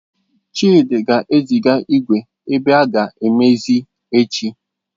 Chidi ga-eziga igwe ebe aga amezie echi.